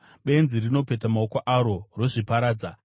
Benzi rinopeta maoko aro, rozviparadza.